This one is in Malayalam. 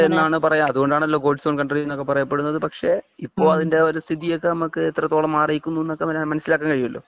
നല്ല ഒരു കാലാവസ്ഥ ആണ് എന്നാണല്ലോ പറയാ അതുകൊണ്ട് ആണല്ലോ ഗോഡ്സ് ഓൺ കൺട്രി എന്ന് ഒക്കെ പറയപ്പെടുന്നത് പക്ഷേ ഇപ്പോ അതിന്റെ ഒരു സ്ഥിതി ഒക്കെ നമുക്ക് എത്രത്തോളം മാറിയിരിക്കുന്നു എന്ന് നമുക്ക് മനസിലാക്കാൻ കഴിയുമല്ലോ